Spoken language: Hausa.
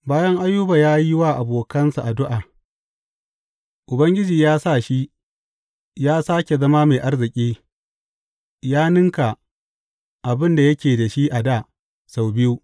Bayan Ayuba ya yi wa abokansa addu’a, Ubangiji ya sa shi ya sāke zama mai arziki ya ninka abin da yake da shi a dā sau biyu.